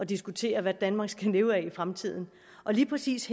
diskuterer hvad danmark skal leve af i fremtiden lige præcis